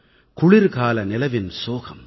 குளிர்கால நிலவின் சோகம்